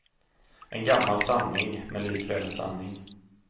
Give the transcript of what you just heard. En gammal sanning, men likväl en sanning.